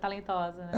Talentosa, né?